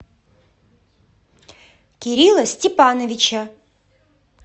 кирилла степановича